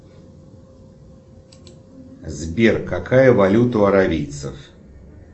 сбер какая валюта у аравийцев